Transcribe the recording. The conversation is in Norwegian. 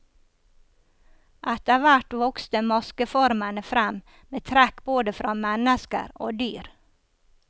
Etterhvert vokste maskeformene frem med trekk både fra mennesker og dyr.